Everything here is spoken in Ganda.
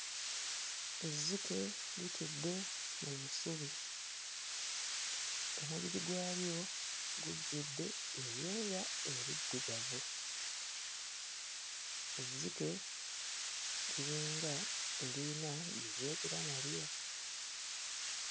Ezzike litudde mu busubi. Omubiri gwalyo gujjudde ebyoya ebiddugavu. Ezzike liringa eriyina gwe lyogera nalyo.